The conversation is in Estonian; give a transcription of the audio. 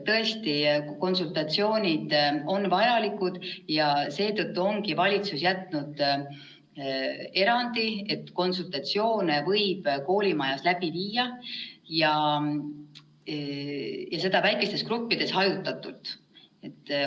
Tõesti, konsultatsioonid on vajalikud ja seetõttu ongi valitsus teinud erandi, et konsultatsioone võib koolimajas läbi viia ja seda väikestes gruppides, hajutatult.